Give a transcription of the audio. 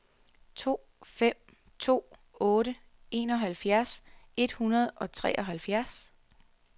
to fem to otte enoghalvfjerds et hundrede og treoghalvfjerds